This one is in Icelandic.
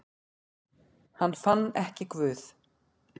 Hann fann ekki Guð.